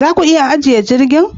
Za ku iya ajiye jirgin